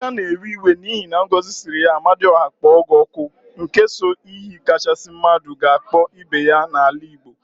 Emeka na-ewe iwe n'ihi na Ngozi siri ya "amadiọha kpọọ gị ọkụ," n ke so iyi kachasị mmadụ ga-akpọ ibe ya n'ala Igbo.